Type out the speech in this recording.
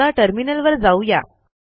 आता टर्मिनलवर जाऊ या